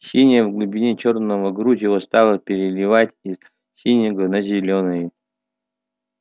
синяя в глубине чёрного грудь его стала переливать из синего на зелёное